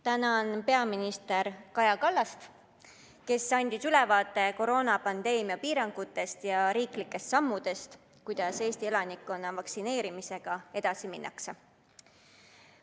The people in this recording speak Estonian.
Tänan peaminister Kaja Kallast, kes andis ülevaate koroonapandeemia piirangutest ja riigi sammudest, kuidas Eesti elanikkonna vaktsineerimisega edasi minnakse.